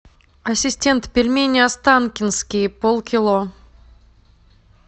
ассистент пельмени останкинские пол кило